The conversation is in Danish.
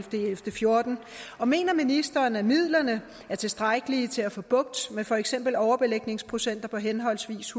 fjorten og mener ministeren at midlerne er tilstrækkelige til at få bugt med for eksempel overbelægningsprocenter på henholdsvis